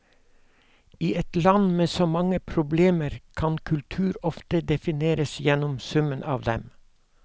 I et land med så mange problemer kan kultur ofte defineres gjennom summen av dem.